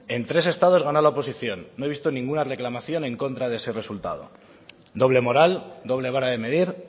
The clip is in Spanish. en tres estados ganó la oposición no ha visto ninguna reclamación en contra de ese resultado doble moral doble vara de medir